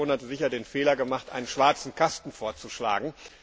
Die Kommission hatte sicher den Fehler gemacht, einen schwarzen Kasten vorzuschlagen